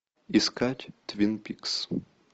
искать твин пикс